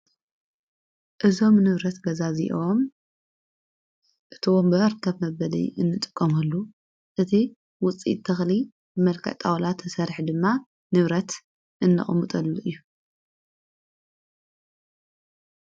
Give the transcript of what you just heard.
እዞም ንብረት ገዛ እዚዎም እቶም ብኣርከብ መበል እንጥቆምሉ እቲ ውፂኢት ተኽሊ መልከ ጣውላት ተሠርሕ ድማ ንብረት እንቕሙጠሉ እዩ።